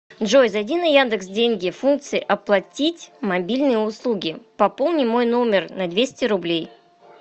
джой зайди на яндекс деньги функция оплатить мобильные услуги пополни мой номер на двести рублей